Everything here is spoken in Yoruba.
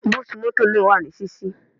Búùtù mọ́tọ̀ náà wà ní ṣíṣí.